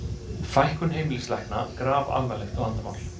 Fækkun heimilislækna grafalvarlegt vandamál